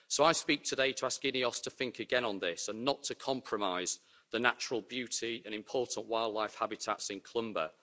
So I speak today to ask INEOS to think again on this and not to compromise the natural beauty and important wildlife habitats in Clumber.